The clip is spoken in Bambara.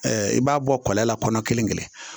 i b'a bɔ kɔlɔn la kɔnɔ kelen kelen